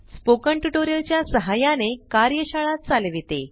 spoken tutorial च्या सहाय्याने कार्यशाळा चालविते